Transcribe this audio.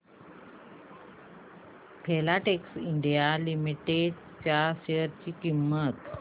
Filatex India Limited च्या share ची किंमत